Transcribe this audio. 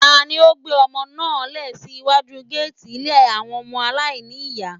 Tani ó gbé ọmọ náà lẹ̀ sí iwájú géètì ilé àwọn ọmọ aláìní ní ìyá.